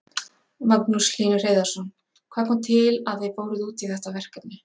Magnús Hlynur Hreiðarsson: Hvað kom til að þið fóruð út í þetta verkefni?